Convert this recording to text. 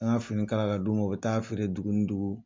N'an y'a fini kalan k'a d'u ma o bɛ taa a feere dugu ni dugu